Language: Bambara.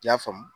I y'a faamu